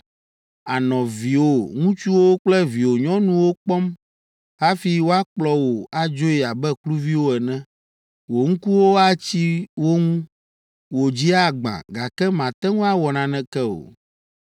Ànɔ viwò ŋutsuwo kple viwò nyɔnuwo kpɔm hafi woakplɔ wo adzoe abe kluviwo ene. Wò ŋkuwo atsi wo ŋu, wò dzi agbã, gake màte ŋu awɔ naneke o.